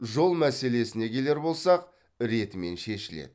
жол мәселесіне келер болсақ ретімен шешіледі